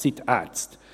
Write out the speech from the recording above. Es sind die Ärzte.